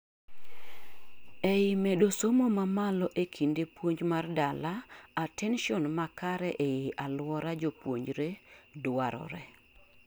eii medo somo mamalo ee kinde puonj mar dala, attention makare ei aluora japuonjre dwarore